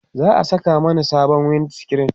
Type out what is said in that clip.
za'a Saka Mani sabon wind screen